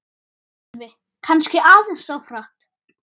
Sölvi: Kannski aðeins of hratt